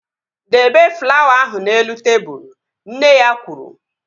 Debe flawa ahụ n'elu tebụl! Nne ya kwuru